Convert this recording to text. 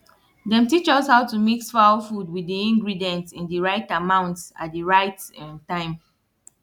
dem teach us how to mix fowl food wit di ingredient in di right amount at di right um time